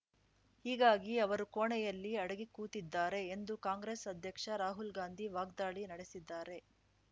ಹೀಗಾಗಿ ಅವರು ಕೋಣೆಯಲ್ಲಿ ಅಡಗಿ ಕೂತಿದ್ದಾರೆ ಎಂದು ಕಾಂಗ್ರೆಸ್‌ ಅಧ್ಯಕ್ಷ ರಾಹುಲ್‌ ಗಾಂಧಿ ವಾಗ್ದಾಳಿ ನಡೆಸಿದ್ದಾರೆ